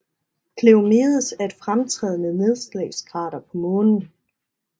Cleomedes er et fremtrædende nedslagskrater på Månen